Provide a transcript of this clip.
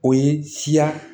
O ye siya